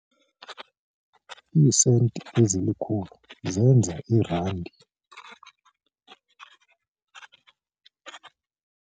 Iisenti ezilikhulu zenza irandi.